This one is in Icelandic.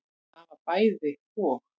Það var bæði og.